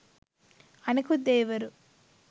අනෙකුත් දෙවිවරු